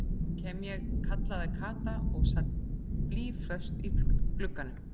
Nú kem ég kallaði Kata og sat blýföst í glugganum.